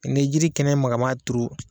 Ni jiri kɛnɛ magaman turu